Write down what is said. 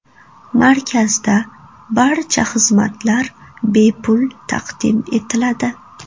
Markazda barcha xizmatlar bepul taqdim etiladi.